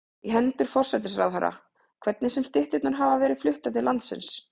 í hendur forsætisráðherra, hvernig sem stytturnar hafa verið fluttar til landsins.